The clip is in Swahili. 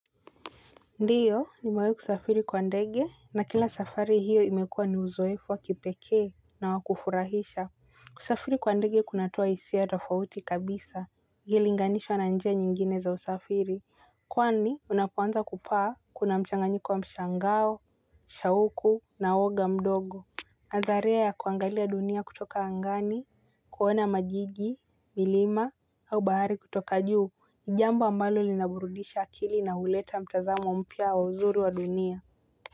Ndio nimewahi kusafiri kwa ndege na kila safari hiyo imekua ni uzoefu wa kipekee na wa kufurahisha. Kusafiri kwa ndege kunatoa hisia tofauti kabisa ikilinganishwa na njia nyingine za usafiri. Kwani unapoanza kupaa kuna mchanganyiko wa mshangao, shauku na uoga mdogo. Atharia ya kuangalia dunia kutoka angani, kuona majiji, milima, au bahari kutoka juu ni jambo ambalo linaburudisha akili na huleta mtazamo mpya wa uzuru wa dunia.